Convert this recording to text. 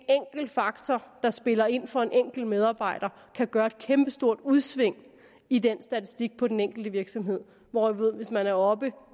faktor der spiller ind for en enkelt medarbejder kan gøre et kæmpestort udsving i den statistik på den enkelte virksomhed hvorimod at hvis man er oppe